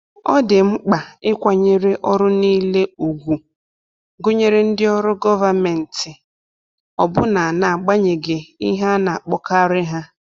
Ọ dị mkpa ịkwanyere ọrụ niile ùgwù, gụnyere ndị ọrụ gọvanmentị, ọbụna n’agbanyeghị ihe a na-akpọkarị ha.